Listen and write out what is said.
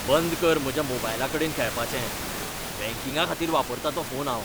बंद कर म्हज्या मोबायलाकडेन खेळपाचें! बँकिंगाखातीर वापरतां तो फोन हांव.